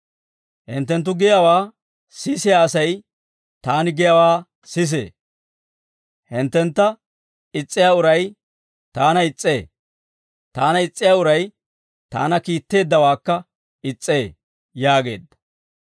«Hinttenttu giyaawaa sisiyaa asay, taani giyaawaa sisee; hinttentta is's'iyaa uray taana is's'ee; taana is's'iyaa uray taana kiitteeddawaakka is's'ee» yaageedda.